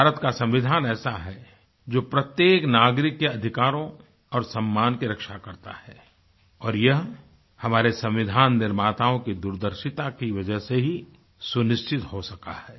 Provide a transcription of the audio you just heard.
भारत का संविधान ऐसा है जो प्रत्येक नागरिक के अधिकारों और सम्मान की रक्षा करता है और यह हमारे संविधान निर्माताओं की दूरदर्शिता की वजह से ही सुनिश्चित हो सका है